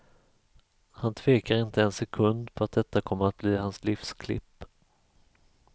Han tvekar inte en sekund på att detta kommer att bli hans livs klipp.